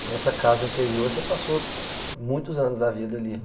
Então essa casa anterior, você passou muitos anos da vida ali.